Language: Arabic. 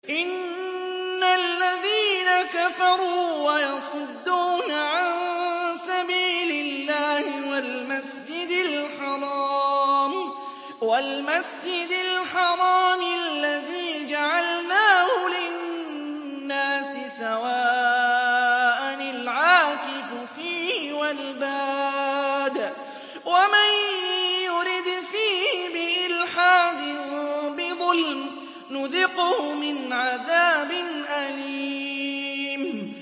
إِنَّ الَّذِينَ كَفَرُوا وَيَصُدُّونَ عَن سَبِيلِ اللَّهِ وَالْمَسْجِدِ الْحَرَامِ الَّذِي جَعَلْنَاهُ لِلنَّاسِ سَوَاءً الْعَاكِفُ فِيهِ وَالْبَادِ ۚ وَمَن يُرِدْ فِيهِ بِإِلْحَادٍ بِظُلْمٍ نُّذِقْهُ مِنْ عَذَابٍ أَلِيمٍ